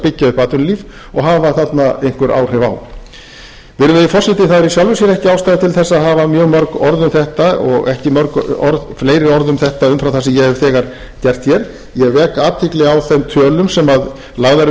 upp atvinnulíf og hafa þarna einhver áhrif á virðulegi forseti það er í sjálfu sér ekki ástæða til þess að hafa mjög mörg orð um þetta og ekki mörg fleiri orð um þetta umfram það sem ég hef þegar gert hér ég vek athygli á þeim tölum sem lagðar eru